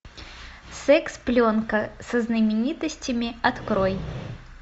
секс пленка со знаменитостями открой